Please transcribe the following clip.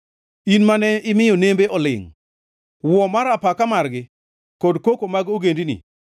in mane imiyo nembe olingʼ, wuo mar apaka margi, kod koko mag ogendini.